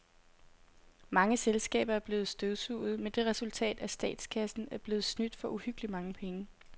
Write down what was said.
Mange selskaber er blevet støvsuget med det resultat, at statskassen er blevet snydt for uhyggeligt mange penge.